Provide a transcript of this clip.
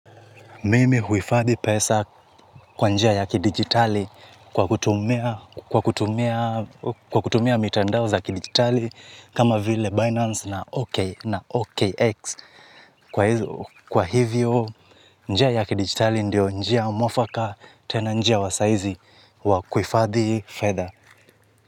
Mimi huhifadhi pesa kwa njia ya kidijitali kwa kutumia mitandao za kidijitali kama vile Binance na OKX. Kwa hivyo, njia ya kidijitali ndio njia mwafaka tena njia wasaizi wa kuhifadhi feather.